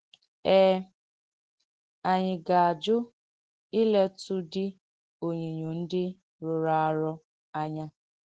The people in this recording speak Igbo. Ee, ànyị ga-ajụ̀ ìlètụ̀dị̀ ònyínyò ndị̀ rụrụrù arụ̀ anya?